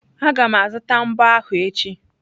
Aga m azụta mbo ahụ echi.